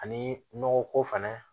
Ani nɔgɔ ko fɛnɛ